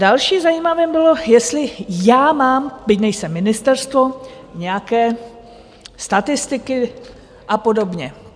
Další zajímavé bylo, jestli já mám, byť nejsem ministerstvo, nějaké statistiky a podobně.